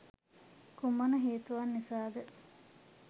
කුමන හේතුවක් නිසාද?